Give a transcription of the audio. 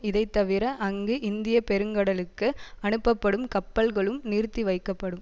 இதைத்தவிர அங்கு இந்திய பெருங்கடலுக்கு அனுப்பப்படும் கப்பல்களும் நிறுத்தி வைக்கப்படும்